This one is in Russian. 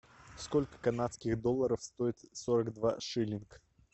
сколько канадских долларов стоит сорок два шиллинг